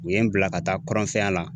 U ye n bila ka taa kɔrɔnfɛya la.